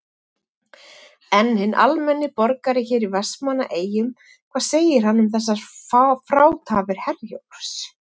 En hinn almenni borgari hér í Vestmannaeyjum, hvað segir hann um þessar frátafir Herjólfs?